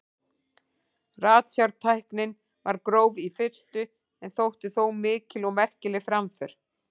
Ratsjártæknin var gróf í fyrstu en þótti þó mikil og merkileg framför.